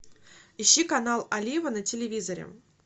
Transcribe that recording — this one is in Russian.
ищи канал олива на телевизоре